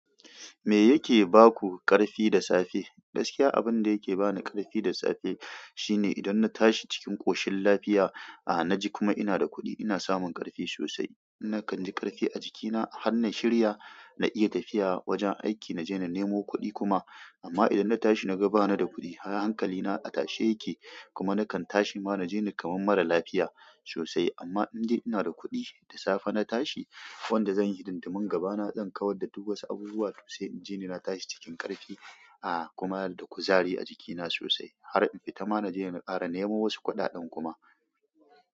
Me yake ba ku ƙarfi da safe? Gaskiya abin da yake ba ni ƙarfi da safe, shine idan na tashi cikin ƙoshin lafiya, ah na ji kuma ina da kuɗi ina samun ƙarfi sosai. Nakan ji ƙarfi a jikina har na shirya na iya tafiya wajen aiki na je na nemo kuɗi kuma. Amma idan na tashi na ga bani da kuɗi, hankali na a tashe yake kuma na kan tashi ma na ji ni kamar mara lafiya sosai. Amma indai ina da kuɗi da safe na tashi, wanda zan yi hidindimun gabana zan kawar da duk wasu abubuwa sosai. In ji ni na tashi cikin ƙarfi, ah kuma da kuzari a jikina sosai. Har in fita ma na je na ƙara nemo wasu kuɗaɗen kuma.